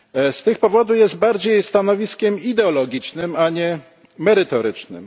Z tych powodów jest bardziej stanowiskiem ideologicznym, a nie merytorycznym.